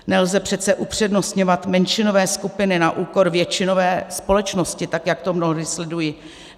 Nelze přece upřednostňovat menšinové skupiny na úkor většinové společnosti, tak jak to mnohdy sleduji.